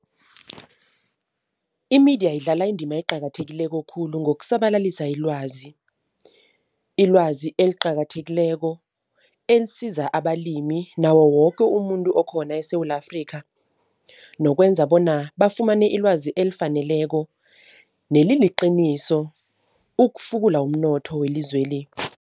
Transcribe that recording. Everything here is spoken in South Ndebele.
Imediya idlala indima eqakathekileko khulu ngokusabalalisa ilwazi, ilwazi eliqakathekileko elisiza abalimi nawo woke umuntu okhona eSewula Afrikha, nokwenza bona bafumane ilwazi elifaneleko neliliqiniso ukufukula umnotho welizweli.